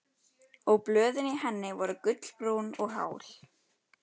Og blöðin í henni voru gulbrún og hál.